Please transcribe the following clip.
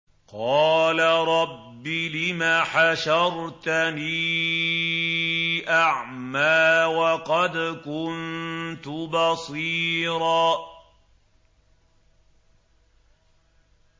قَالَ رَبِّ لِمَ حَشَرْتَنِي أَعْمَىٰ وَقَدْ كُنتُ بَصِيرًا